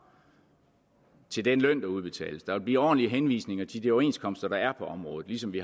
til den løn der udbetales der vil blive ordentlige henvisninger til de overenskomster der er på området ligesom vi